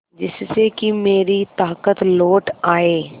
जिससे कि मेरी ताकत लौट आये